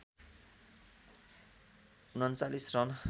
३९ run